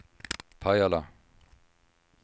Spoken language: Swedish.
Pajala